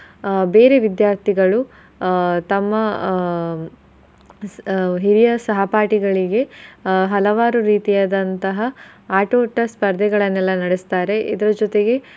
ಆಹ್ ಬೇರೆ ವಿದ್ಯಾರ್ಥಿಗಳು ಆಹ್ ತಮ್ಮ ಆಹ್ ಹಿರಿಯ ಸಹಪಾಠಿಗಳಿಗೆ ಹಲವಾರು ರೀತಿಯಾದಂತಹ ಆಟೋಟ ಸ್ಪರ್ದೆಗಳನ್ನೆಲ್ಲಾ ನಡಸ್ತಾರೆ ಇದರ್ ಜೊತೆಗೆ.